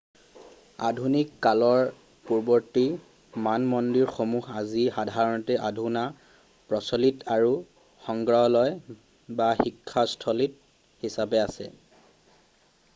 আধুনিক কালৰ পূৰ্বৱৰ্তী মানমন্দিৰসমূহ আজি সাধাৰণতে অধুনা প্ৰচলিত আৰু সংগ্ৰহালয় বা শিক্ষাত স্থলী হিচাপে আছে